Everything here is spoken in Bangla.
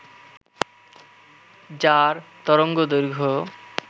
যার তরঙ্গদৈর্ঘ্য